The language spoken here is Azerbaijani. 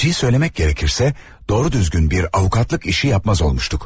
Gerçəyi söyləmək gərəkirsə, doğru düzgün bir avukatlıq işi yapmaz olmuşduq.